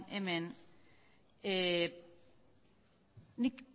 hemen nik